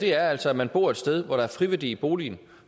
her er altså at man bor et sted hvor der er friværdi i boligen